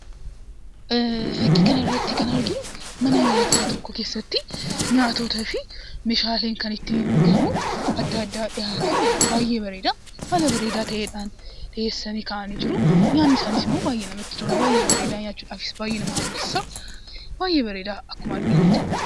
Fakkii kanarratti kan arginu, mana nyaataa tokko keessatti, nyaatotaafi meeshaalee kan ittiin dhugamu adda addaa dhiyaatee, baayyee bareedaa. Haala bareedaa ta'eedhaan, dhiyeessanii kaa'anii jiru. Nyaanni isaaniisimmoo baayyee namatti tola. Baayyee bareeda, nyaachudhaafis baayyee nama hawwisiisa. Baayyee bareeda akkuma arginutti.